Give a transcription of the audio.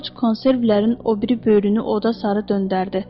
Corc konservlərin o biri böyrünü oda sarı döndərdi.